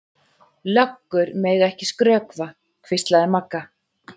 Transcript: Löggur mega ekki skrökva, hvíslaði Magga.